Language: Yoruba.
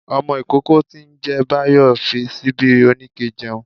Ọmọ ikókó tí n jẹ báyó fí síbi oníkẹ̀ jẹun